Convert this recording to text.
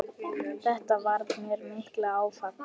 Þetta varð mér mikið áfall.